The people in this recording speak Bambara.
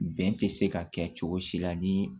Bɛn tɛ se ka kɛ cogo si la ni